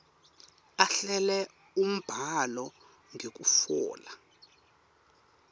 ahlele umbhalo ngekutfola